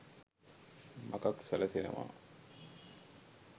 මගක් සැලසෙනවා